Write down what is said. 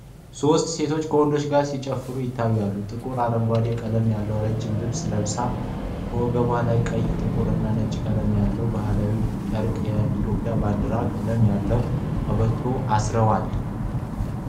ሦስቱ ሴቶች ከወንዱ ጋር ሲጨፍሩ ይታያሉ። ጥቁር አረንጓዴ ቀለም ያለው ረጅም ልብስ ለብሰዋል፤ ከወገባቸው ላይ ቀይ፣ ጥቁር እና ነጭ ቀለም ያለው ባህላዊ ጨርቅ የኢትዮጵያ ባንዲራ ቀለም ያለው ቀበቶ አስረዋል።